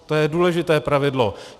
To je důležité pravidlo.